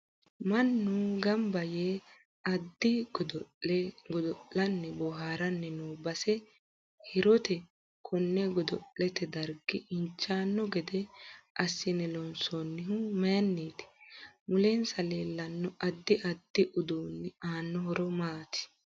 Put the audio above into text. Mannu ganba yee addi addi. godo'le godol'ni boohaarini noo base hiiroote konne godo'lete dargg injanno gede assine loonsoonihu mayiiniiti mulensa leelanno addi. addi uduuni aano horo maati